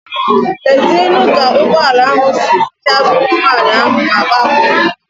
Lezienu ka ụgbọala ahụ si pịagbuo nwaanyị ahụ ma gbapụ.